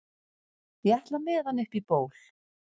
ég ætla með hann upp í ból